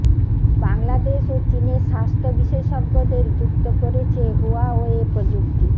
বাংলাদেশ ও চীনের স্বাস্থ্য বিশেষজ্ঞদের যুক্ত করেছে হুয়াওয়ে প্রযুক্তি